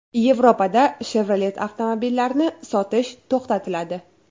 Yevropada Chevrolet avtomobillarini sotish to‘xtatiladi.